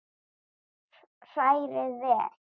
Hrærið vel.